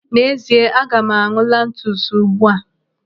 N'ezie, aga m an̄ụ lantus ugbu a.